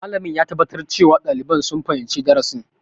Malamin ya tabbatar cewa ɗaliban sun fahimci darasin.